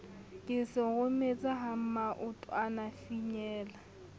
ke se rometse ha maotwanafinyella